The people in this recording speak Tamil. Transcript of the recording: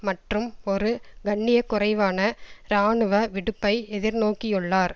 மற்றும் ஒரு கண்ணிய குறைவான இராணுவ விடுப்பை எதிர் நோக்கியுள்ளார்